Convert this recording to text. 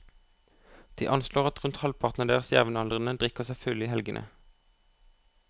De anslår at rundt halvparten av deres jevnaldrende drikker seg fulle i helgene.